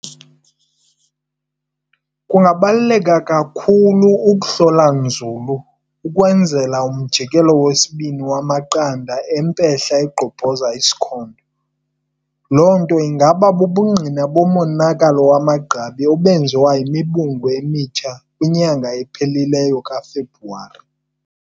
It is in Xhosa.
Kungabaluleka kakhulu ukuhlola nzulu ukwenzela ukuhlola umjikelo wesibini wamaqanda empehla egqobhoza isikhondo nokuba bubungqina bomonakalo wamagqabi obenziwa yimibungu emitsha kwinyanga epheleleyo kaFebruwari.